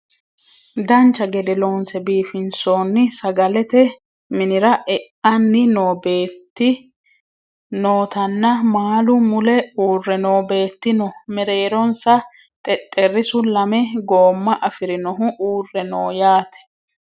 dancha gede loonse biifinsoonni sagalete minira e"anni noo beetti nootanna maalu mule uurre noo beetti no mereeronsa xexxerrisu lame goomma afirinohu uurre no yaate